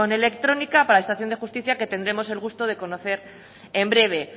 electrónica para la administración de justicia que tendremos el gusto de conocer el breve